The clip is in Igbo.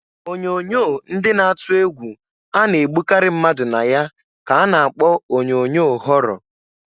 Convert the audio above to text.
Onyoonyo ndị na-atụ egwu a na-egbukari mmadụ na ya ka a na-kpọ onyoonyoo họrọ.